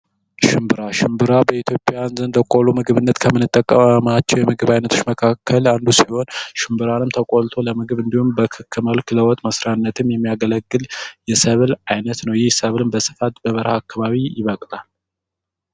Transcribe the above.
ሽምብራ ሽንብራ በኢትዮያዊያን ዘንድ ለቆሎ ምግብነት ከምንጠቀማቸው የምግብ ዓይነቶች መካከል አንዱ ሲሆን ሽንብራንም ተቆልቶ ለምግብ እንዲሁም በክክ መልክ ለወጥ መሥሪያነት የሚያገለግል የሰብል ዓይነት ነው። ይህ ሰብልም በስፋት በበረሃ አካባቢ ይበቅላል።